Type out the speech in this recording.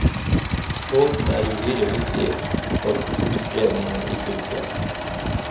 Båten er uhyre viktig for kulturspredningen i fylket.